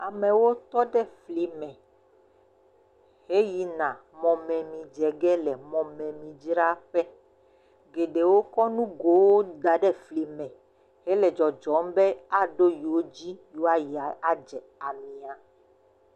Amewo tɔ ɖe fli me, he yi na mɔmemi dze ge le mɔmemi dzraƒe, geɖewo kɔ nugowo da ɖe fli me, he le dzɔdzɔm be aɖo yowo dzi, yewoa yi adze amia.